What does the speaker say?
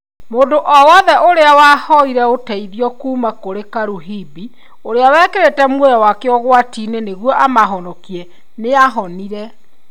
Mũndũ o wothe ũrĩa wahoire ũteithio kuuma kũrĩ Karuhimbi, ũrĩa wĩkĩrĩte muoyo wake ũgwati-inĩ nĩguo amahonokie, nĩ aahonire.